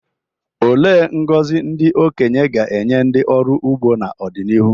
Olee ngọzi ndị okenye ga-enye ndị ọrụ ugbo n’ọdịnihu?